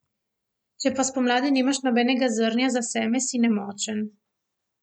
Če pa spomladi nimaš nobenega zrnja za seme, si nemočen.